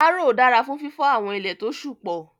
Áróó dara fun fifọ awọn ile to ṣú pọ